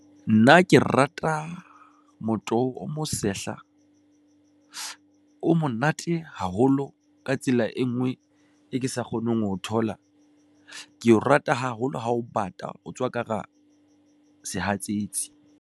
Nna ke rata motoho, o mo sehla o monate haholo, ka tsela e ngwe, e ke sa kgoneng ho thola keo rata haholo ha o bata, o tswa ka hara sehatsetsi.